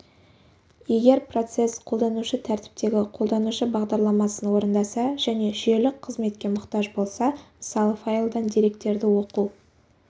егер процесс қолданушы тәртіптегі қолданушы бағдарламасын орындаса және жүйелік қызметке мұқтаж болса мысалы файлдан деректерді оқу